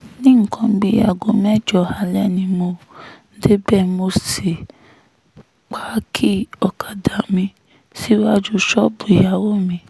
ní nǹkan bíi aago mẹ́jọ alẹ́ ni mo débẹ̀ mọ́ sí páàkì ọ̀kadà mi síwájú ṣọ́ọ̀bù ìyàwó mi